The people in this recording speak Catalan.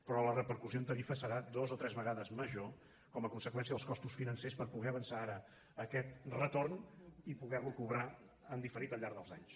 però la repercussió en tarifa serà dues o tres vegades major com a conseqüència dels costos financers per poder avançar ara aquest retorn i poderlo cobrar en diferit al llarg dels anys